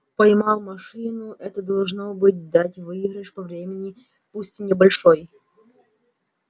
поймал машину это должно быть дать выигрыш по времени пусть и небольшой